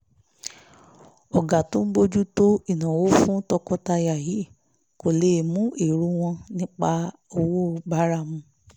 ọ̀gá tó ń bójú tó ìnáwó fún tọkọtaya yìí kò lè mú èrò wọn nípa owó bára mu